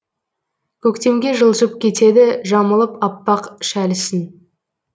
көктемге жылжып кетеді жамылып аппақ шәлісін